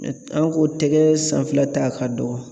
An k'o tɛgɛ sanfɛ ta ka dɔgɔn